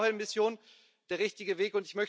Ist eine Blauhelmmission der richtige Weg?